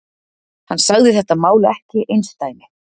Hann sagði þetta mál ekki einsdæmi